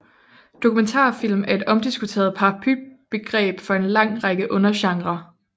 Dokumentarfilm er et omdiskuteret paraplybegreb for en lang række undergenrer